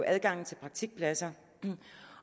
adgangen til praktikpladser